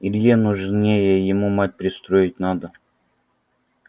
илье нужнее ему мать пристроить надо